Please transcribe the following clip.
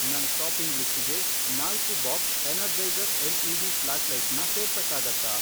ನನ್ ಷಾಪಿಂಗ್ ಲಿಸ್ಟಿಗೆ, ನಾಲ್ಕು ಬಾಕ್ಸ್ ಎನರ್ಜೈಸರ್ ಎಲ್ಇಡಿ ಫ಼್ಲಾಷ್ಲೈಟ್ನ ಸೇರ್ಸಕ್ಕಾಗತ್ತಾ?